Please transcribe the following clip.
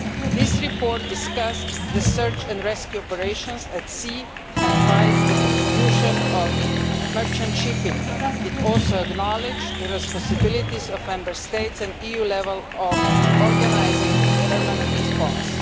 The report discussed the search and rescue operations at sea and praised the contribution of merchant shipping. It also acknowledged the responsibilities of Member States and of the EU for organising a permanent response.